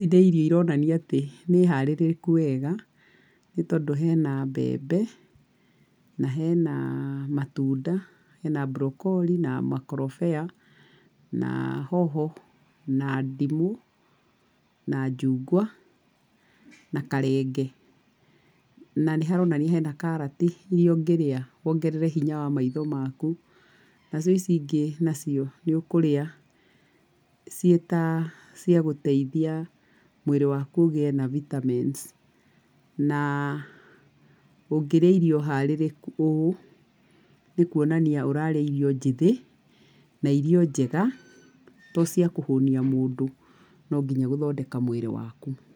Nĩ irio iroonania atĩ nĩ harĩrĩku wega, nĩ tondũ hena mbembe, na hena matunda, hena broccoli na makorobea, na hoho, na ndimũ, na njungwa, na karenge. Na nĩ haronania hena karati iria ũngĩrĩa wongerere hinya wa maitho maku. Nacio ici ingĩ nacio, nĩ ũkũrĩa ciĩ ta cia gũteithia mwĩrĩ wakũ ũgĩe na vitamins. Na ũngĩrĩa irio harĩrĩku ũũ, nĩ kũonania ũrarĩa irio njĩthĩ na irio njega, to cia kũhũnia mũndũ, no nginya gũthondeka mwĩrĩ waku.